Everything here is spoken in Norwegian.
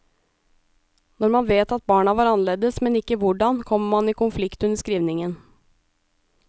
Når man vet at barna var annerledes, men ikke hvordan, kommer man i konflikt under skrivningen.